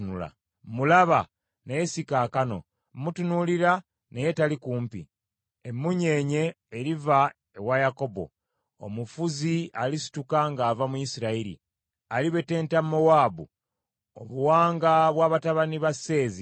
“Mmulaba, naye si kaakano; mmutunuulira, naye tali kumpi. Emmunyeenye eriva ewa Yakobo; omufuzi alisituka ng’ava mu Isirayiri. Alibetenta Mowaabu, obuwanga bw’abatabani ba Seezi.